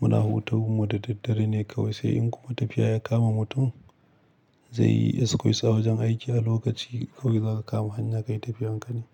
muna hutun mu da daddare ne kawai. Sai in kuma tafiya ya kama mutum zai yi excuse a wajen aiki a lokaci kawai zaka kama hanya kai tafiyan ka ne.